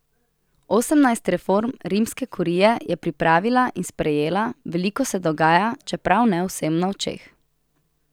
Osemnajst reform rimske kurije je pripravila in sprejela, veliko se dogaja, čeprav ne vsem na očeh.